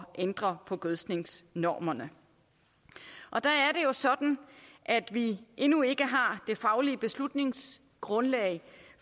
ændre på gødskningsnormerne der er det jo sådan at vi endnu ikke har det faglige beslutningsgrundlag